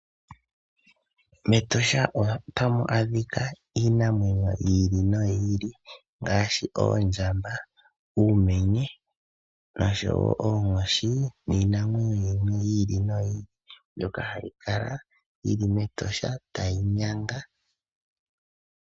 MEtosha otamu adhika iinamwenyo yi ili noyi ili ngaashi oondjamba, uumenye nosho wo oonkoshi niinamwenyo yimwe yi ili noyi ili, mbyoka hayi kala yi li mEtosha tayi yanga.